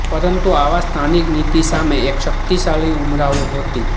પરંતુ આવા સ્થાનિક નીતિ સામે એક શક્તિશાળી ઉમરાવો હતી